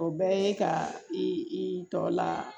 O bɛɛ ye ka i tɔ la